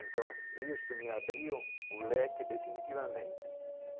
Então, isso me abriu um leque definitivamente.